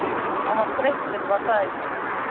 Hann varð þreyttur var það ekki?